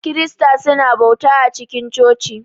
kirista su na bauta cikin coci.